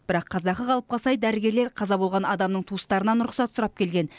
бірақ қазақы қалыпқа сай дәрігерлер қаза болған адамның туыстарынан рұқсат сұрап келген